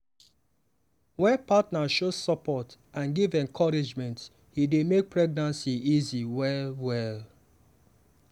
wen partner show support and give encouragement e dey make pregnancy easy well well.